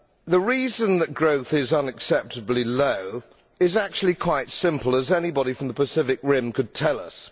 The reason that growth is unacceptably low is actually quite simple, as anybody from the Pacific Rim could tell us.